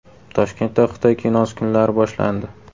Toshkentda Xitoy kinosi kunlari boshlandi.